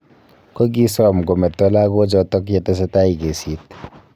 Kogisom kemeto lagoochoto yetesetai kesiit